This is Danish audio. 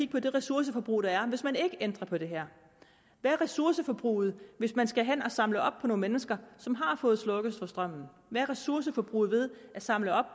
på det ressourceforbrug der er hvis man ikke ændrer på det her hvad er ressourceforbruget hvis man skal hen at samle op på nogle mennesker som har fået slukket for strømmen hvad er ressourceforbruget ved at samle op